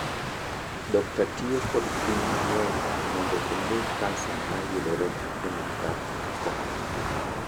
Dokta tiyo kod pim mang’eny mondo ong’e kansa ma yudore e ng’ut dhako.